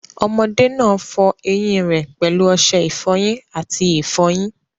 Ọmọdé náà fọọ eyín rẹ̀ pẹ̀lú ọṣẹ ìfọyín àti ìfọyín